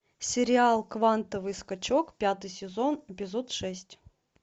сериал квантовый скачок пятый сезон эпизод шесть